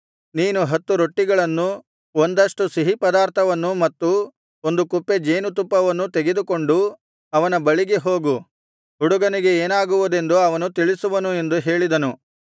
ನೀನು ಹತ್ತು ರೊಟ್ಟಿಗಳನ್ನೂ ಒಂದಷ್ಟು ಸಿಹಿಪದಾರ್ಥವನ್ನೂ ಮತ್ತು ಒಂದು ಕುಪ್ಪೆ ಜೇನುತುಪ್ಪವನ್ನೂ ತೆಗೆದುಕೊಂಡು ಅವನ ಬಳಿಗೆ ಹೋಗು ಹುಡುಗನಿಗೆ ಏನಾಗುವುದೆಂದು ಅವನು ತಿಳಿಸುವನು ಎಂದು ಹೇಳಿದನು